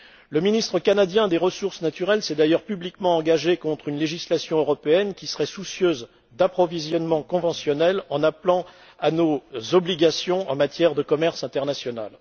Le ministre canadien des ressources naturelles s'est d'ailleurs publiquement engagé contre une législation européenne qui serait soucieuse d'approvisionnements conventionnels, en nous rappelant à nos obligations en matière de commerce international.